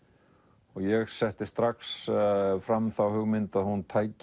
og ég setti strax fram þá hugmynd að hún tæki